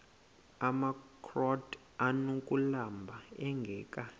amakrot anokulamla ingeka